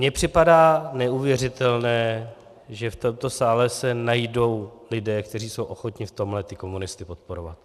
Mně připadá neuvěřitelné, že v tomto sále se najdou lidé, kteří jsou ochotni v tomhle ty komunisty podporovat.